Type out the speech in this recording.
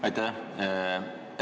Aitäh!